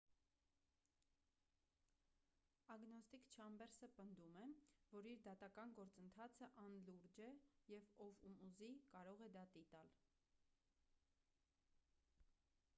ագնոստիկ չամբերսը պնդում է որ իր դատական գործընթացը անլուրջ է և ով ում ուզի կարող է դատի տալ